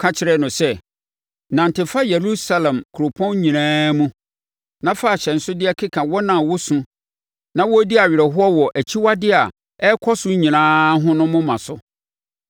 ka kyerɛɛ no sɛ, “Nante fa Yerusalem kuropɔn nyinaa mu na fa ahyɛnsodeɛ keka wɔn a wosu na wodi awerɛhoɔ wɔ akyiwadeyɛ a ɛkɔ so nyinaa ho no moma so.”